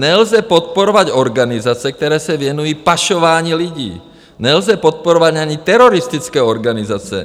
Nelze podporovat organizace, které se věnují pašování lidí, nelze podporovat ani teroristické organizace.